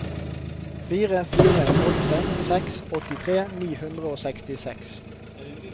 fire fire åtte seks åttitre ni hundre og sekstiseks